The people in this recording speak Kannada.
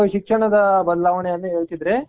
ಶಿಕ್ಷಣದ ಬದಲಾವಣೆ ಏನ್ ಹೇಳ್ತಿದ್ರೆ